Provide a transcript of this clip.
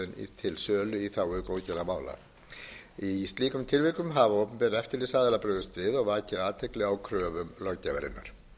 til sölu í þágu góðgerðarmála í slíkum tilvikum hafa opinberir eftirlitsaðilar brugðist við og vakið athygli á kröfum löggjafarinnar